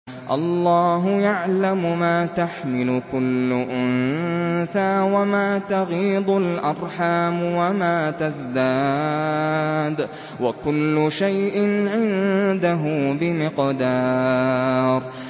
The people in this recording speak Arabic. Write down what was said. اللَّهُ يَعْلَمُ مَا تَحْمِلُ كُلُّ أُنثَىٰ وَمَا تَغِيضُ الْأَرْحَامُ وَمَا تَزْدَادُ ۖ وَكُلُّ شَيْءٍ عِندَهُ بِمِقْدَارٍ